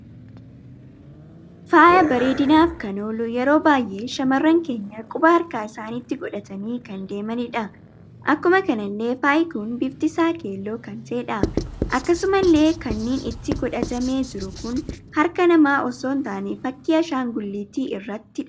Faaya bareedinaf kan ooluu yeroo baay'ee shamarran keenya quba harkaa isanitti godhatani kan deemanidha. Akkuma kanalle faayi kun bifti isa keelloo kan ta'edha. Akkasumalle kaniinni itti godhatame jiru kun harkaa nama osoon taanee fakkii Ashaangulliti irrattidha.